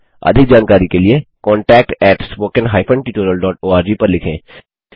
अधिक जानकारी के लिए contactspoken tutorialorg पर लिखें